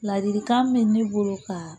Ladilikan bɛ ne bolo ka